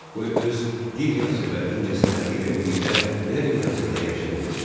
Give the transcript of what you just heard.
Qoy öz Dilyası və incəsənəti ilə birlikdə belə bir mənzildə yaşaya bilsin.